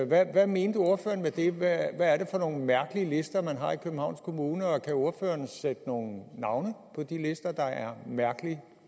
hvad mente ordføreren med det hvad er det for nogle mærkelige lister man har i københavns kommune og kan ordføreren sætte nogen navne på de lister der er mærkelige